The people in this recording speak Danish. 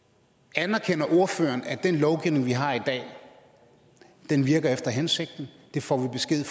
anerkender ordføreren at den lovgivning vi har i dag virker efter hensigten det får vi besked